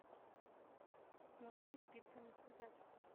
носки спицами связать